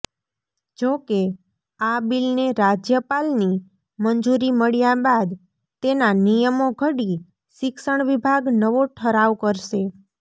જોકે આ બિલને રાજ્યપાલની મંજૂરી મળ્યા બાદ તેના નિયમો ઘડી શિક્ષણ વિભાગ નવો ઠરાવ કરશે